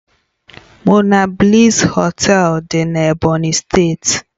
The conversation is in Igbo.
Monabliss Họtelu dị na Ebonyi steeti